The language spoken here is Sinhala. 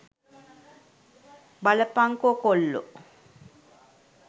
බලපන්කො කොල්ලෝ